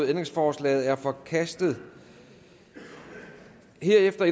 ændringsforslaget er forkastet herefter